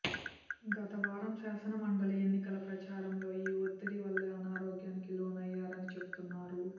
గత వారం శాసన మండలి ఎన్నికల ప్రచారంలో ఈ వత్తిడి వల్లే అనారోగ్యానికి లోనయ్యారని చెబుతున్నారు